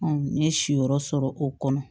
n ye si yɔrɔ sɔrɔ o kɔnɔ